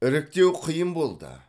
іріктеу қиын болды